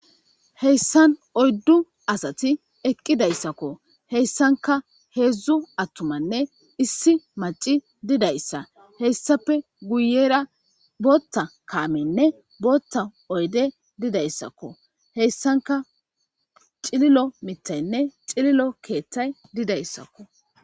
heyssan oyddu asati eqqidayssakko heyssanka heedzdzu attumanne issi maci didayssa heyssape guyera bootta kaamenne bootta oyde didayssakko heyssanka cililo mitaynne xililo keeththay didayssakko